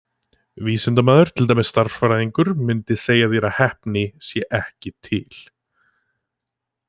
Vísindamaður, til dæmis stærðfræðingur, mundi segja þér að heppni sé ekki til.